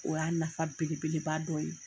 O y'a nafa bele beleba dɔ ye.